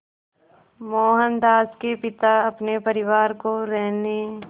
मोहनदास के पिता अपने परिवार को रहने